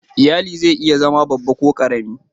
lyalli zai iya zama babba ko kuma karemi.